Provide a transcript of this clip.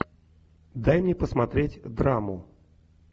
дай мне посмотреть драму